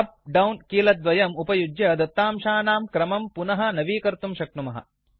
up down कीलकद्वयम् उपयुज्य दत्तांशानां क्रमं पुनः नवीकर्तुं शक्नुमः